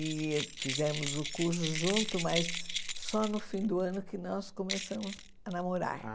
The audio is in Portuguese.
E fizemos o curso junto, mas só no fim do ano que nós começamos a namorar.